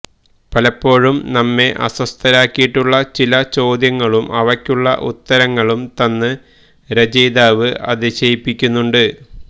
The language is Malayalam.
പലപ്പോഴും നമ്മെ അസ്വസ്ഥരാക്കിയിട്ടുള്ള ചില ചോദ്യങ്ങളും അവയ്ക്കുള്ള ഉത്തരങ്ങളും തന്ന് രചയിതാവ് അതിശയിപ്പിക്കുന്നുണ്ട്